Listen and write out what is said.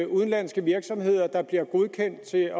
udenlandske virksomheder der bliver godkendt til